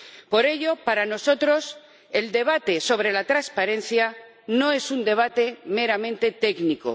Por ello, para nosotros el debate sobre la transparencia no es un debate meramente técnico.